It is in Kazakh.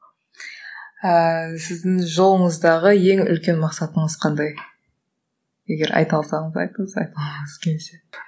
ыыы сіздің жолыңыздағы ең үлкен мақсатыңыз қандай егер айта алсаңыз айтыңыз